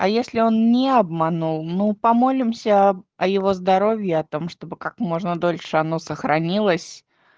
а если он не обманул ну помолимся о его здоровье о том чтобы как можно дольше оно сохранилось